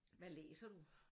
Hvad læser du?